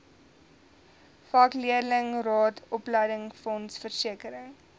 vakleerlingraad opleidingsfonds versekering